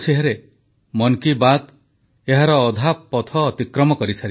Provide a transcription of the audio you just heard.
ସାର୍ବଭୌମତ୍ୱ ଏବଂ ସୀମା ସୁରକ୍ଷା କରିବାରେ ଭାରତର ଶକ୍ତି ଓ ସଂକଳ୍ପବଦ୍ଧତାକୁ ସାରା ବିଶ୍ୱ ଦେଖିଲା ପ୍ରଧାନମନ୍ତ୍ରୀ